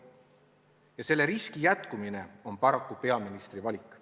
Ja selle riski püsimine on paraku peaministri valik.